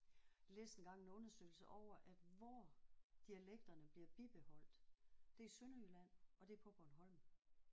Læste engang en undersøgelse over at hvor dialekterne bliver bibeholdt det er Sønderjylland og det er på Bornholm